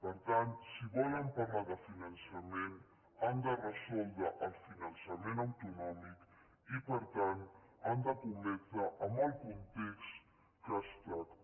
per tant si volen parlar de finançament han de resoldre el finançament autonòmic i per tant han d’escometre amb el context que es tracta